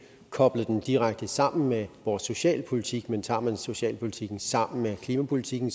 koblet den direkte sammen med vores socialpolitik men tager man socialpolitikken sammen med klimapolitikken